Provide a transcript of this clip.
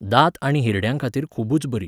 दांत आनी हिरड्यांखातीर खूबच बरी.